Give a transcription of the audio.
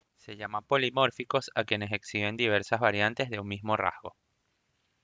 se llama polimórficos a quienes exhiben diversas variantes de un mismo rasgo